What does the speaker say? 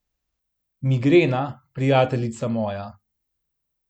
Migrena, prijateljica moja.